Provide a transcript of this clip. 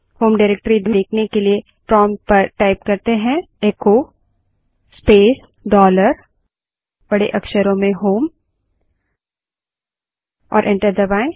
home directory देखने के लिए प्रोंप्ट पर echo space dollar home type करें और एंटर दबायें